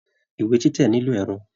Ìwé títẹ nilo ẹrọ.